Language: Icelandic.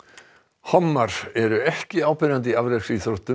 hommar eru ekki áberandi í afreksíþróttum